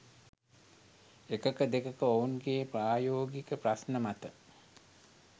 එකක දෙකක ඔවුන්ගේ ප්‍රායෝගික ප්‍රශ්න මත